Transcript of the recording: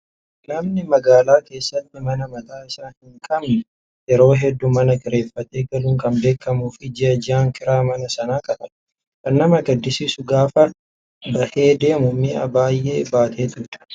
Namni magaalaa keessatti mana mataa isaa hin qabne yeroo hedduu mana kireeffatee galuun kan beekamuu fi ji'a ji'aan jiraa manaa sana kaffala. Kan nama gaddisiisu gaafa bahee deemu mi'a baay'ee baateetudha.